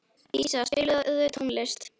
Dísa, spilaðu tónlist.